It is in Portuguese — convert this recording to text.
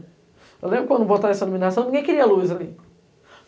Eu lembro quando botaram essa iluminação, ninguém queria luz ali.